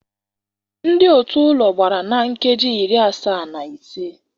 Ndị otu ụlọ gbara na nkeji iri asaa na ise.